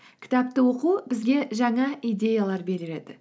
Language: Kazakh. кітапты оқу бізге жаңа идеялар